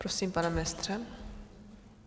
Prosím, pane ministře.